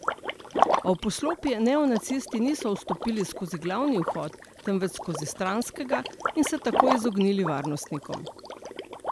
A v poslopje neonacisti niso vstopili skozi glavni vhod, temveč skozi stranskega, in se tako izognili varnostnikom.